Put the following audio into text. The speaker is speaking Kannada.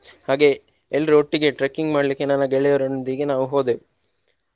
ಹಾಗೆಯೇ ಎಲ್ರೂ ಒಟ್ಟಿಗೆ trekking ಮಾಡ್ಲಿಕ್ಕೆ ನನ್ನ ಗೆಳೆಯರೊಂದಿಗೆ ನಾವು ಹೋದೆವು.